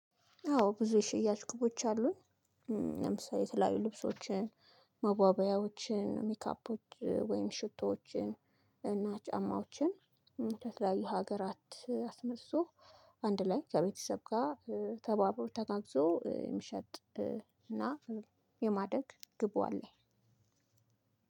አዎ ብዙ ሽያጭ ቅቦች አሉን። ለምሳሌ የተለያዩ ልብሶችን መዋቢያዎችን ሜካፖች ወይም ሽቶዎችን እና ጫማዎችን ከተለያዩ ሀገራት አስመዝዞ አንድ ላይ ከቤተሰብ ጋር ተባብሮ ተጋግዞ የመሸጥ እና የማደግ ግቡ አለ።